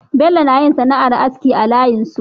Bello nayin sana'ar aski a layin su